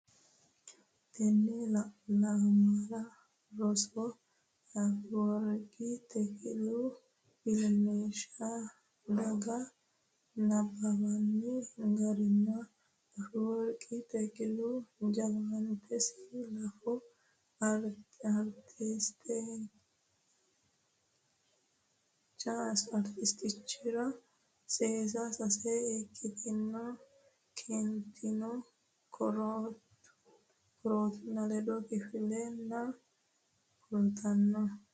Tenne lamala rosira Afeworqi Takilehu ilamishshi dhagge nabbabbinoonni garinni Afeworqi Takilehu jawaatanso laafa artistichaatiro sase sase ikkitine keentine korkaatunku ledo kifile’nera kullitinani?